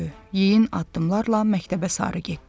Yeyin addımlarla məktəbə sarı getdi.